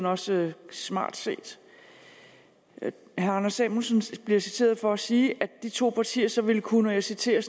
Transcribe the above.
også smart set herre anders samuelsen bliver citeret for at sige at de to partier så vil kunne og jeg citerer